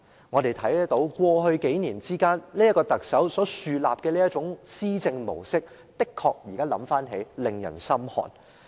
這位特首在過去數年所豎立的這套施政模式，確實教人心寒。